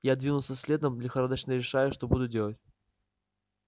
я двинулся следом лихорадочно решая что буду делать